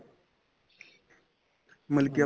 ਮਤਲਬ ਕੀ